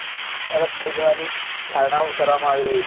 તરફ લઈ જવાની ધારણાઓ કરવામાં આવી રહી છે